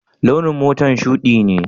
Launin motar shuɗi ne?